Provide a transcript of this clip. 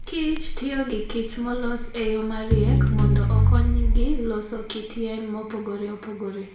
kich tiyo gi kichmolos e yo mariek mondo okonygi loso kit yien mopogore opogore.